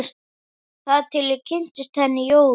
Þar til ég kynntist henni Jóru.